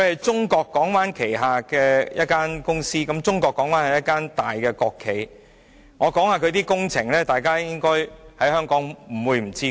中國港灣是一間大型國企，我列出它在香港的工程，香港人應該不會不知道。